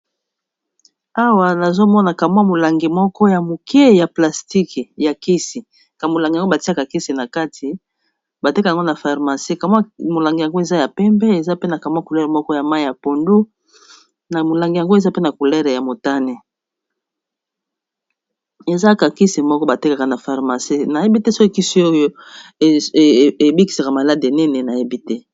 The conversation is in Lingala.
AWa nazomona kamwa molangi moko ya moke ya plastique ya kisi kamolangi yango batiaka kisi na kati batekango na pharmacie kamwa molangi yango eza ya pembe eza pe na kamwa couleur moko ya mai ya pondu na molangi yango eza pena couleur ya motane ezaka kisi moko batekaka na pharmacie nayebi te so kisi oyo ebikisaka malade nini nayebi te.